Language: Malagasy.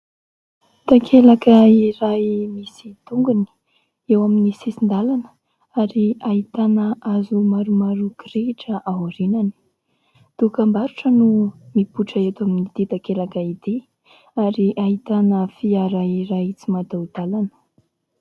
Takelaka iray misy tongony eo amin'ny sisin-dalana ary ahitana hazo maromaro kirihitra aorianany. Dokam-barotra no mipoitra eto amin'ity takelaka ity ary ahitana fiara iray tsy mataho-dalana.